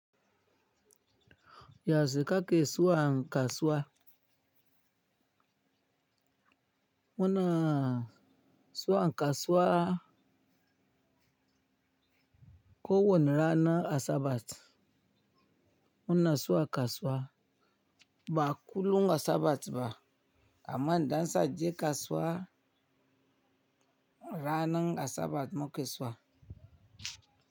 Yau she ka ke zuwa kasuwa. Muna so an kasuwa ko wani rana asabat. Muna so a kasuwa ba kullum asabat ba amma idan zaaje kasuwa ranan asabar muke zuwa.